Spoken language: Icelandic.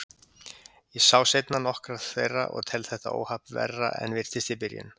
Ég sá seinna nokkrar þeirra og tel þetta óhapp verra en virtist í byrjun.